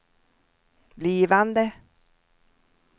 blivande